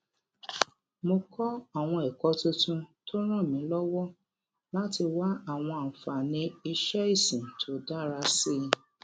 mo kó àwọn èkó tuntun tó ràn mí lówó láti wá àwọn àǹfààní iṣé ìsìn tó dára sí i